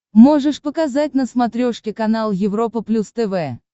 можешь показать на смотрешке канал европа плюс тв